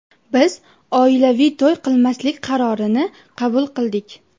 Biz oilaviy to‘y qilmaslik qarorini qabul qildik.